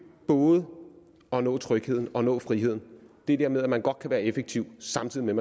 både at nå trygheden og nå friheden det der med at man godt kan være effektiv samtidig med